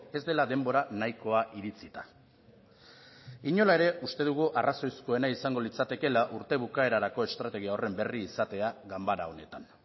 ez dela denbora nahikoa iritzita inola ere uste dugu arrazoizkoena izango litzatekeela urte bukaerarako estrategia horren berri izatea ganbara honetan